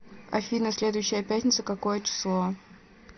афина следующая пятница какое число